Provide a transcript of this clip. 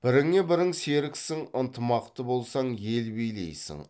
біріңе бірің серіксің ынтымақты болсаң ел билейсің